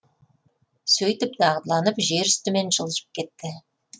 сөйтіп дағдыланып жер үстімен жылжып кетті